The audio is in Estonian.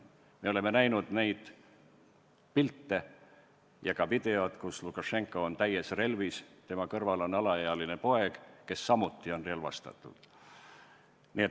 Me oleme näinud pilte ja videot, kus Lukašenka on täies relvis, kõrval tema alaealine poeg, kes samuti on relvastatud.